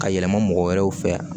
Ka yɛlɛma mɔgɔ wɛrɛw fɛ